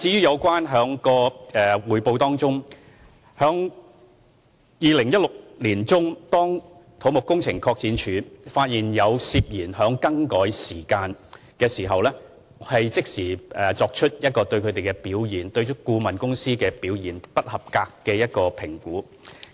有關匯報的問題，在2016年年中，當土木工程拓展署發現有涉嫌更改時間的情況後，已經即時就顧問表現是否不合格作出評估。